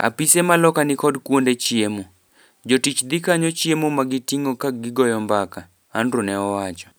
"Apise ma loka ni kod kuonde chiemo. Jotich dhi kanyo chiemo ma gitingo ka gigoyo mbaka." Andrew ne owacho.